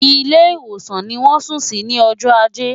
Ilé ìwòsàn ni wọ́n sùn sí ní ọjọ́ ajé.